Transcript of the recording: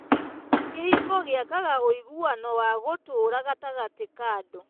Kĩhiko gĩakaga ũiguano wa gũtũũra gatagatĩ ka andũ.